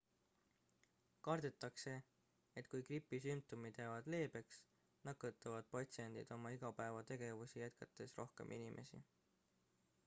kardetakse et kui gripi sümptomid jäävad leebeks nakatavad patsiendid oma igapäevategevusi jätkates rohkem inimesi